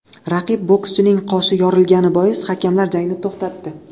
Raqib bokschining qoshi yorilgani bois, hakamlar jangni to‘xtatdi.